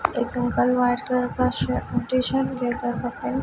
एक uncle white colour का shirt t shirt लेकर